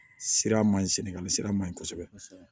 Sira man ɲi sɛnɛgali sira man ɲi kosɛbɛ kosɛbɛ